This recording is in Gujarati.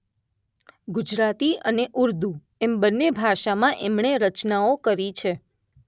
ગુજરાતી અને ઉર્દૂ એમ બંને ભાષામાં એમણે રચનાઓ કરી છે